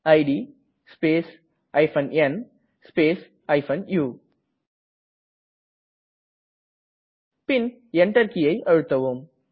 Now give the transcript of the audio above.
it space n space u பின் Enter கீயை அழுத்தவும்